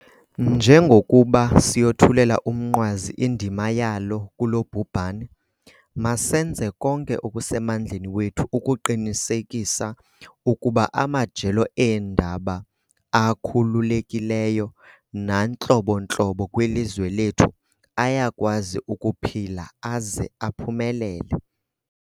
Njengokuba siyothulela umnqwazi indima yalo kulo bhubhane, masenze konke okusemandleni wethu ukuqinisekisa ukuba amajelo eendaba akhululekileyo nantlobontlobo kwilizwe lethu ayakwazi ukuphila aze aphumelele.